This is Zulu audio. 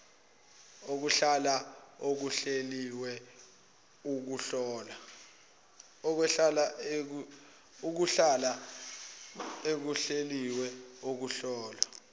ukuhlola okuhleliwe ukuhlola